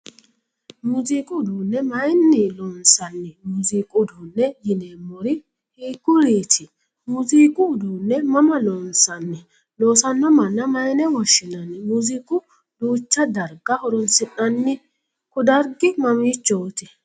Muuziiqu uduune mayinni loonsanni? Muuziiqu uduune yineemori hiikuriiti? Muuziiqu uduune mamma loonsanni? Loosano manna mayine woshinnanni? Muuziiqu duucha darga horoonsi'nanninna kudargi mamiichooti?